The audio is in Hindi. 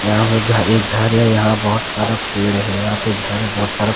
यहां पर घर एक घर है यहां बहोत सारा पेड़ है यहां पे घर बहोत सारा--